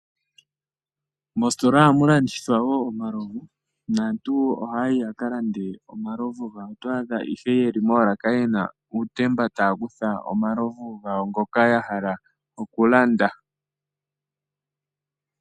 Moositola ohamu landithwa wo omalovu, naantu ohaya yi ya ka lande omalovu gawo. Otwa adha ihe ye li moolaka ye na uutemba taya kutha omalovu gawo ngoka ya hala okulanda.